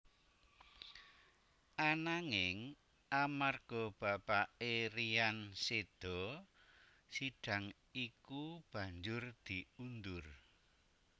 Ananging amarga bapaké Ryan seda sidang iku banjur diundur